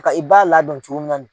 Ka i ba ladon cogo min na ni